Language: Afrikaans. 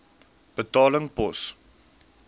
betaling pos